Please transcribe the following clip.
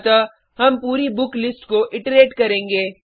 अतः हम पूरी बुक लिस्ट को इट्रेट करेंगे